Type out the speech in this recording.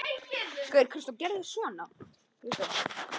Sá sem ekki þekkir sinn eigin bakgrunn hlýtur að eiga erfitt með að fóta sig.